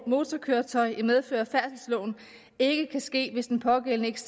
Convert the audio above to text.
motorkøretøj i medfør af færdselsloven ikke kan ske hvis den pågældende ikke